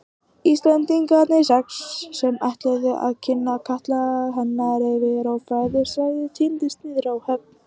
Íslendingarnir sex, sem ætluðu að kynda katla hennar yfir ófriðarsvæðið tíndust niður á höfn.